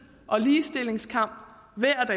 og ligestillingskamp hver